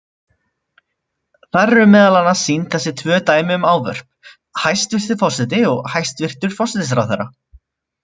Þar eru meðal annars sýnd þessi tvö dæmi um ávörp: hæstvirti forseti og hæstvirtur forsætisráðherra.